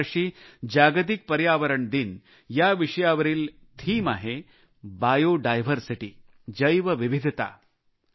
यावर्षी जागतिक पर्यावरण दिन या विषयावरील संकल्पना आहे बायो डायव्हर्सिटी जैवविविधता